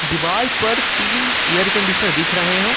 दीवार पर तीन एयर कंडीशनर दिख रहे हैं।